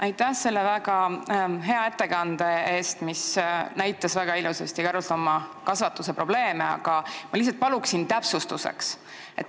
Aitäh selle väga hea ettekande eest, mis näitas väga ilusasti karusloomakasvatuse probleeme, aga ma lihtsalt palun täpsustada.